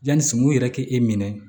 Yanni suman yɛrɛ kɛ e minɛ